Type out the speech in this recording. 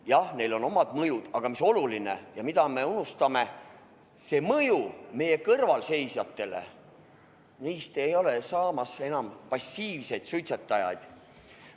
Jah, neil on oma mõju, aga mis on oluline ja mida me unustama kipume, see on mõju kõrvalseisjatele: nemad ei ole enam passiivsed suitsetajad.